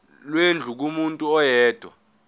lwendlu kumuntu oyedwa